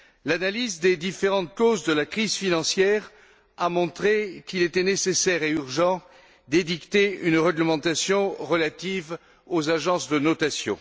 L'analyse des différentes causes de la crise financière a montré qu'il était nécessaire et urgent d'édicter une réglementation relative aux agences de notation.